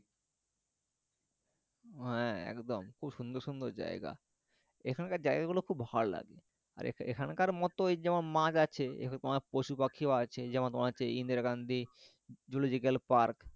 হ্যাঁ একদম খুব সুন্দর সুন্দর জায়গা এখানকার জায়গা গুলো খুব ভালো লাগে আর এখানকার মত ওই যেমন মাছ আছে তেমন পশুপাখিও আছে যেমন তোমার হচ্ছে ইন্দিরা গান্ধী zoological park